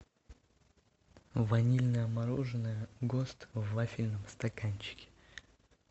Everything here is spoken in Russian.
ванильное мороженое гост в вафельном стаканчике